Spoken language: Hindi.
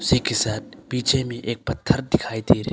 इसी के साथ पीछे में एक पत्थर दिखाई दिए दे रहे--